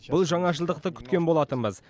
бұл жаңашылдықты күткен болатынбыз